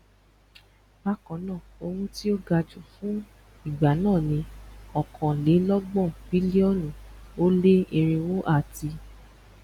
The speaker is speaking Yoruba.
bákannáà owó tí o gaju fun ìgbà náà ni okanlelogbọn bílíọnù o leerinwo ati